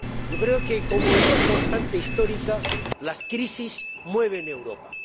Yo creo que, como en una constante histórica, las crisis mueven Europa.